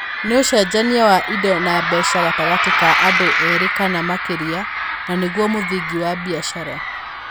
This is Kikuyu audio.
Nĩ ũcenjenia wa indo na mbeca gatagatĩ ka andũ erĩ kana makĩria, na nĩguo mũthingi wa biacara.